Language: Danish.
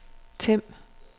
Them